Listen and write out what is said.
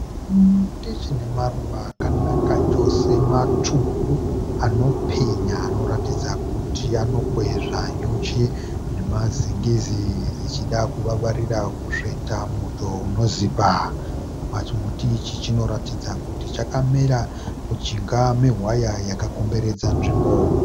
Chimuti chine maruva akanaka chose matsvuku, anopenya anoratidza kuti anokwezva nyuchi nemazingizi zvichida kuvavarira kusveta muto unozipa. Pachimuti ichi chinorakidza kuti chakamera mujinga mewaya yakakomberedza nzvimbo.